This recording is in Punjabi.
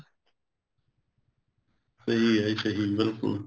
ਸਹੀ ਐ ਜੀ ਸਹੀ ਬਿਲਕੁੱਲ